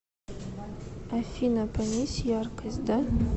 афина понизь яркость да